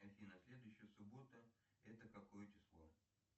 афина следующая суббота это какое число